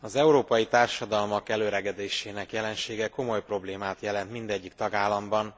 Az európai társadalmak elöregedésének jelensége komoly problémát jelent mindegyik tagállamban,